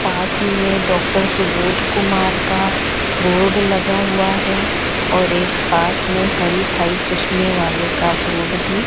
पास ही में डॉक्टर सुबोध कुमार का बोर्ड लगा हुआ है और एक पास में हरि भाई चश्मे वाले का बोर्ड भी --